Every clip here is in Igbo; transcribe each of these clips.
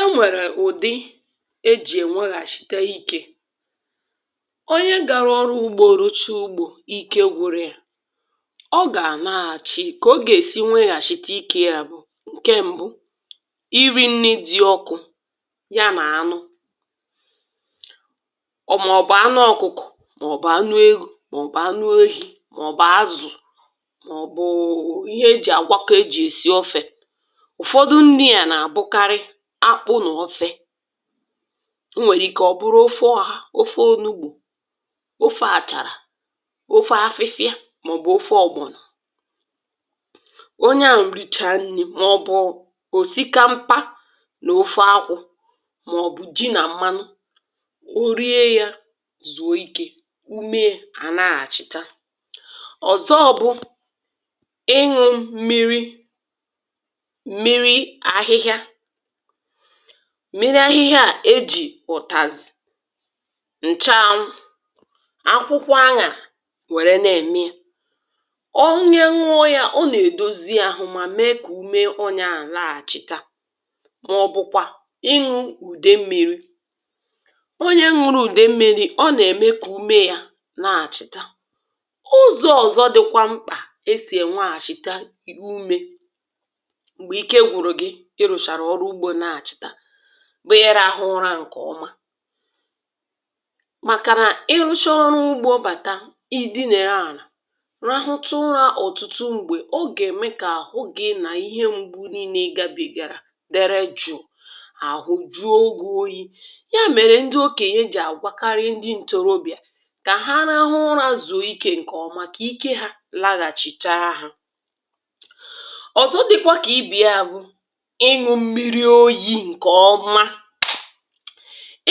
e nwèrè ụ̀dị ejì ènweghàchite ikė onye gȧrụ̇ ọrụ ụgbọ̇, rụcha ụgbọ̇ ike, gwȧrė ya ọ gà-àna àchị ka ọ gà-èsi nweghàchite ikė. ya bụ̀ ǹke ṁbụ̇: iri̇ nni dị̇ ọkụ ya nà-ànụ o, um màọ̀bụ̀ anụ ọ̀kụkụ̀, màọ̀bụ̀ anụ egȯ, màọ̀bụ̀ anụ oyi̇, màọ̀bụ̀ azụ̀, màọ̀bụ̀ ihe e jì àgwakọ esi̇ ọfė àkpụ. n’ọfị̇, ọ nwèrè ike ọ̀ bụrụ ụfụ̇, eh ahà ofe: ofe ọnụ ugbȯ, ofe àchàrà, ofe afịfịa, màọbụ̇ ofe ọ̀gbọ̀nọ̀. onye à nrichaa nni̇ màọbụ̇ òsikaa, mkpȧ nà ofe akwụ̇, màọbụ̇ ji nà mmanụ, o rie yȧ, zùo ikė. ume à nà-àchita. ọ̀zọ bụ̇ mmiri ahịhịa à mmiri ahịhịa à ejì ụ̀tàzụ̀, ǹchȧanwụ̇, akwụkwọ añà nwère nà-ème onye nwụọ yȧ; ọ nà-èdozi ȧhụ̇, mà mee kà ume ọọ̇nyȧ à laghàchita. màọbụ̇ kwà inwu̇ ùde mmiri̇ onye nwụrụ ùde mmiri̇, ọ nà-ème kà ume yȧ laghàchita. ụzọ̇ ọ̀zọ dịkwa mkpà: esì enwe àchịta umė, kịrụsharà ọrụ ugbȯ, na-achị̀tà bụ̀ ihe nȧ-ahụ ụra ǹkè ọma. màkà nà ị hụchị ọrụ ugbȯ bàta, ị di̇ na-ere ànà, rahụtụrȧ ọ̀tụtụ; mgbè ọ gà-ème kà àhụ gi̇ nà ihe mgbu niile ị gabègàrà dịrị juò. àhụ juo, ogwu, oyi̇ ya mèrè ndị okènyè jì àgwakarị, eh ndị ntorobịà kà ha nȧ-ahụ ụrȧ, zụ̀o ike ǹkè ọma, kà ike hȧ laghàchịchara hȧ. ọ̀zọ dịkwa kà: ịṅụ mmiri oyi ǹkè ọma.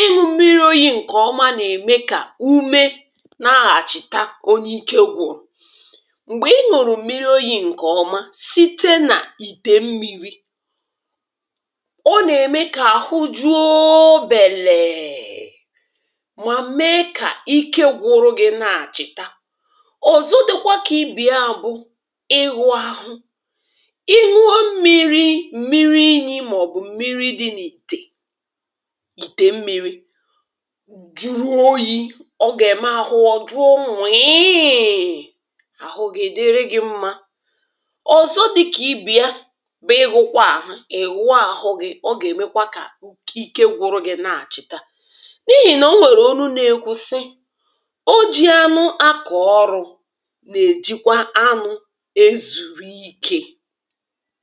ịṅụ mmiri oyi ǹkè ọma, nà-ème kà ume nà-aghàchita onye ike gwụ̀rụ̀. m̀gbè ịṅụ̀rụ̀ mmiri oyi ǹkè ọma, site nà ìtè mmi̇ri̇, ọ nà-ème kà àhụ jụȧȧ, belėė, mà mee kà ike gwụrụ gị na-àchị̀ta. ọ̀zọ dị̇kwa kà ibì: a bụ ịgụ̇ ahụ mmiri inyė, màọ̀bụ̀ mmiri dị̇ n’ìtè, ìtè mmi̇ri̇ gịrụ oyi̇ ọ gà-ème ahụọ̇ dụọ, nwùiì ahụ gà-èdere gị̇ mmȧ. ọ̀zọ dị̇ kà ibì ya bụ̀ egwu̇kwa ahụ, ị̀wụ̀ ahụ gị̇. ọ gà-èmekwa kà ike gwụrụ gị̇ na-àchịta, n’ihì nà o nwèrè onu na-ekwusi, o jì anụ akọ̀ ọrụ̇, nà-èjikwa anụ̇ ezùrù ikė.